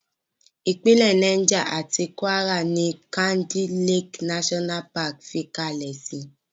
Ìpínlẹ̀ Niger àti Kwara ní Kainji Lake National Park fi ìkalẹ̀ sí.